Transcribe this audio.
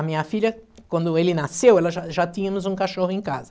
A minha filha, quando ele nasceu, já já tínhamos um cachorro em casa.